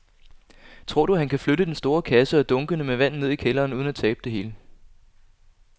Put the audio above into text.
Tror du, at han kan flytte den store kasse og dunkene med vand ned i kælderen uden at tabe det hele?